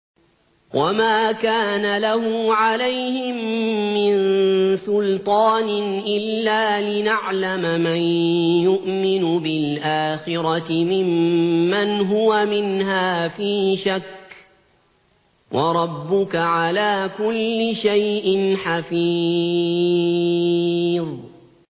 وَمَا كَانَ لَهُ عَلَيْهِم مِّن سُلْطَانٍ إِلَّا لِنَعْلَمَ مَن يُؤْمِنُ بِالْآخِرَةِ مِمَّنْ هُوَ مِنْهَا فِي شَكٍّ ۗ وَرَبُّكَ عَلَىٰ كُلِّ شَيْءٍ حَفِيظٌ